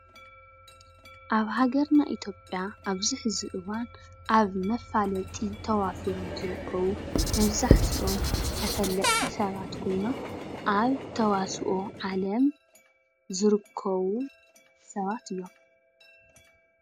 ኣብ ሃገርና ኢትዮጵያ ኣብዚ ሐዚ እዋን ኣብ መፋለጢ ተዋፊሮም ዝርከቡ መብዛሕቲኦም ተፈለጥቲ ሰባት ኮይኖም ኣብ ተዋስኦ ዓለም ዝርከቡ ሰባት እዮም።